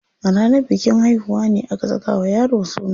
A ranar bikin haihuwa ne aka saka wa yaro suna.